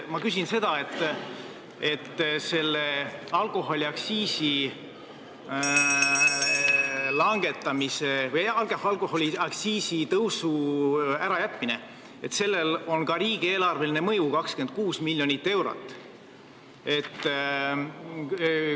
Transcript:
Ma küsin selle kohta, et alkoholiaktsiisi tõusu ärajätmisel on ka riigieelarveline mõju: 26 miljonit eurot.